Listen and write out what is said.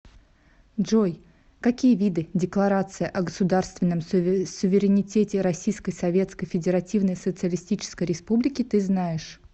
джой какие виды декларация о государственном суверенитете российской советской федеративной социалистической республики ты знаешь